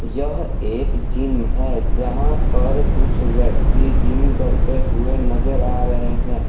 यह एक जिम है जहां पर कुछ व्यक्ति जिम करते हुए नजर आ रहे हैं।